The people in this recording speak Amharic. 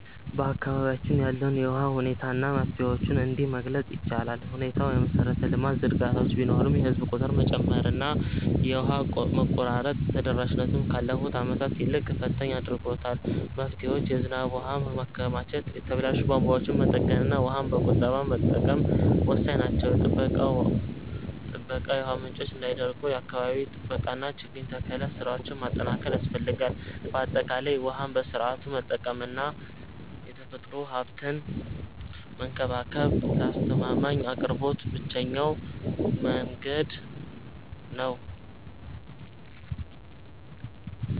በአካባቢያችን ያለውን የውሃ ሁኔታ እና መፍትሄዎቹን እንዲህ መግለፅ ይቻላል፦ ሁኔታው፦ የመሰረተ ልማት ዝርጋታዎች ቢኖሩም፣ የህዝብ ቁጥር መጨመርና የውሃ መቆራረጥ ተደራሽነቱን ካለፉት ዓመታት ይልቅ ፈታኝ አድርጎታል። መፍትሄዎች፦ የዝናብ ውሃን ማከማቸት፣ የተበላሹ ቧንቧዎችን መጠገንና ውሃን በቁጠባ መጠቀም ወሳኝ ናቸው። ጥበቃ፦ የውሃ ምንጮች እንዳይደርቁ የአካባቢ ጥበቃና የችግኝ ተከላ ስራዎችን ማጠናከር ያስፈልጋል። ባጠቃላይ፣ ውሃን በስርዓቱ መጠቀምና የተፈጥሮ ሀብትን መንከባከብ ለአስተማማኝ አቅርቦት ብቸኛው መንገድ ነው።